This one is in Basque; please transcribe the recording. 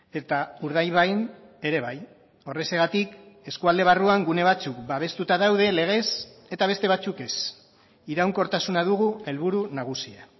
eta urdaibain ere bai horrexegatik eskualde barruan gune batzuk babestuta daude legez eta beste batzuk ez iraunkortasuna dugu helburu nagusia